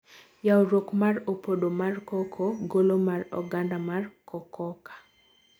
Yawruok mar opodo mar cocoa Golo mar oganda mar cococa.